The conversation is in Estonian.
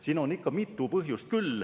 Siin on ikka mitu põhjust.